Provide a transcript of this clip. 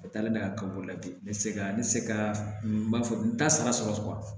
A taalen n'a ka bolola bi ne tɛ se ka ne tɛ se ka nin b'a fɔ n t'a sara sɔrɔ